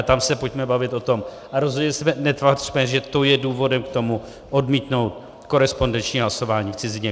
A tam se pojďme bavit o tom a rozhodně se netvařme, že to je důvodem k tomu odmítnout korespondenční hlasování v cizině.